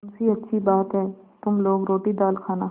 मुंशीअच्छी बात है तुम लोग रोटीदाल खाना